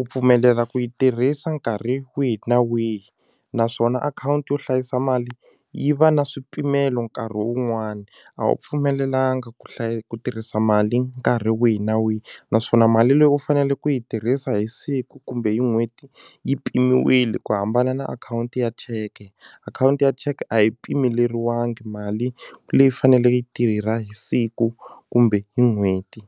u pfumelela ku yi tirhisa nkarhi wihi na wihi naswona akhawunti yo hlayisa mali yi va na swipimelo nkarhi wun'wani a wu pfumelelanga ku ku tirhisa mali nkarhi wihi na wihi naswona mali leyi u fanele ku yi tirhisa hi siku kumbe hi n'hweti yi pimiwile ku hambana na akhawunti ya cheke akhawunti ya cheke a yi pimeleriwangi mali leyi faneleke yi tirha hi siku kumbe hi n'hweti.